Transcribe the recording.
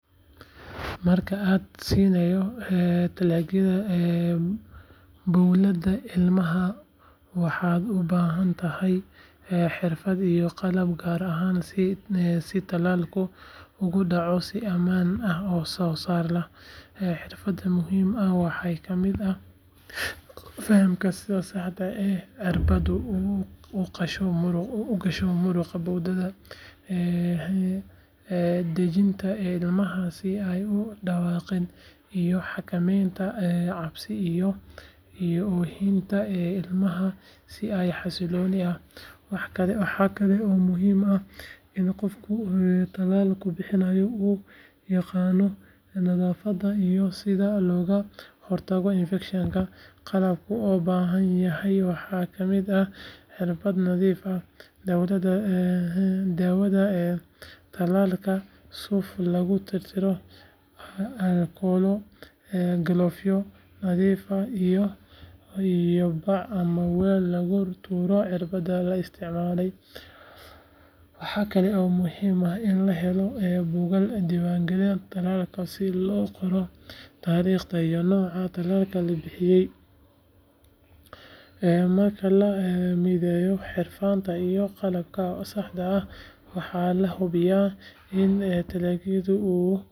Marka aad siinayso talaagada bowladda ilmaha waxaad u baahan tahay xirfad iyo qalab gaar ahaan si talaalku uu ugu dhaco si ammaan ah oo soo saar leh. Xirfadda muhiim ah waxaa ka mid ah fahamka sida saxda ah ay cirbadda u gasho muruqa bowdhada, dhejinta ilmaha si ay u dhawaaqin iyo xakamaynta cabsi iyo oohinta il, maha si xasilooni ah. Waxaa kale oo muhiim ah in qofka talaalka bixinaayo uu yaqaano nadaafada iyo sida looga hortago infection-ka. Qalabka uu u baahan yahay waxaa ka mid ah cirbad nadiif ah, dhaawada talaalka, suuf lagu tirtiro, alcohol-ka, gloves nadiif ah iyo bac ama waal lagu tuuro cirbadda la isticmaalay. Waxaa kale oo muhiim ah in la helo buugal dhiiwaan gellin si talaalka loo qoro taarikhda iyo nooca talaalka la bixiyay . Marka la midheyo xirfadda iyo qalabka oo saxda ah waxaa la hubiyaa in talaagyadu uu